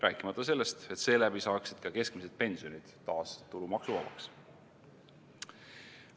Rääkimata sellest, et seeläbi saaksid ka keskmised pensionid taas tulumaksuvabaks.